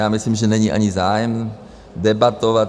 Já myslím, že není ani zájem debatovat.